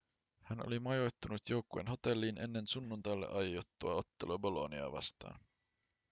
hän oli majoittunut joukkueen hotelliin ennen sunnuntaille aiottua ottelua boloniaa vastaan